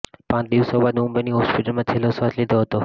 પાંચ દિવસો બાદ મુંબઈની હોસ્પિટલમાં છેલ્લો શ્વાસ લીધો હતો